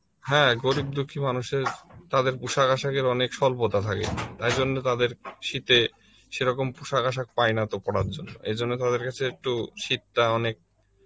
হ্যাঁ গরিব দুঃখী মানুষের, তাদের পোষাক-আশাকের অনেক স্বল্পতা থাকে তাই জন্য তাদের শীতে সেই রকম পোশাক আসক তো পায়না পরার জন্য এই জন্য তাদের কাছে একটু শীতটা অনেক